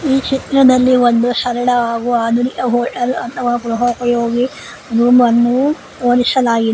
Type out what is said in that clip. ಈ ಚಿತ್ರದಲ್ಲಿ ಒಂದು ಸರಳ ಹಾಗು ಆಧುನಿಕ ಹೋಟೆಲ್ ಅಥವಾ ಗೃಹೋಪಯೋಗಿ ರೂಮ್ ಅನ್ನು ಹೋಲಿಸಲಾಗಿದೆ.